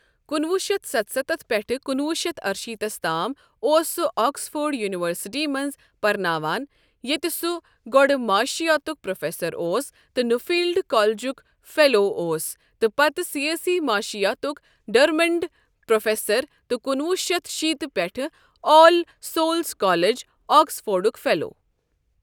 کُنوُہ شیتھ ستستھ پیٹھہٕ کُنوُہ شیتھ ارِشیتھس تام ، اوس سہُ آکسفورڈ یونیورسٹی منز پرناوان ،ییتہِ سوُ گوڈٕ معاشیاتُك پروفیسر اوس تہٕ نفیلڈ کالجُك فیلواوس، تہٕ پتہٕ سیٲسی معشِیاتُك ڈرمنڈ پروفیسر تہٕ کُنوُہ شیتھ شیت پیٹھہٕ آل سولز کالج، آکسفورڈُ ک فیلو ۔